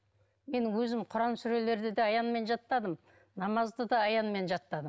менің өзім құран сүрелерді де аянмен жаттадым намазды да аянмен жаттадым